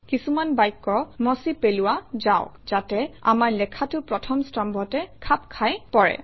কিছুমান বাক্য মচি পেলোৱা যাওক যাতে আমাৰ লেখাটো প্ৰথম স্তম্ভতে খাপ খাই পৰে